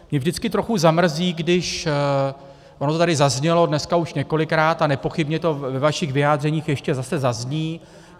Mě vždycky trochu zamrzí, když - ono to tady zaznělo dneska už několikrát a nepochybně to ve vašich vyjádřeních ještě zase zazní.